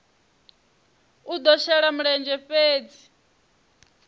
i do shela mulenzhe fhedzi